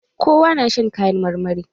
Kowa na shan kayan marmari